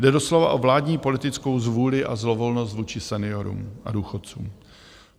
Jde doslova o vládní politickou zvůli a zlovolnost vůči seniorům a důchodcům.